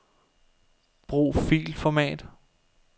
Brug filformat.